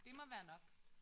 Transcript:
Det må være nok